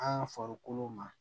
An farikolo ma